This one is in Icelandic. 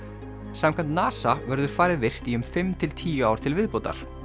samkvæmt NASA verður farið virkt í um fimm til tíu ár til viðbótar